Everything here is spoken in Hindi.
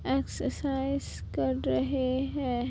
एक्सरसाइज कर रहे हैं।